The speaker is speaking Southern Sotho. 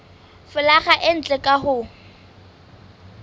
folaga e ntle ka ho